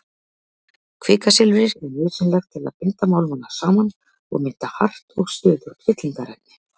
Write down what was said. Kvikasilfrið er nauðsynlegt til að binda málmana saman og mynda hart og stöðugt fyllingarefni.